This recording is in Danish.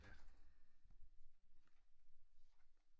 Ja